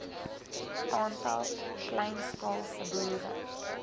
aantal kleinskaalse boere